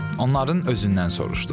Onların özündən soruşduq.